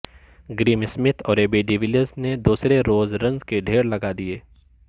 grim Smith اور A B de Villiers نے دوسرے روز رنز کے ڈھیر لگا دیے